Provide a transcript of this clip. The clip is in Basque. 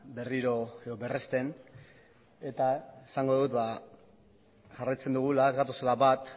berriro edo berresten eta esango dut jarraitzen dugula ez gatozela bat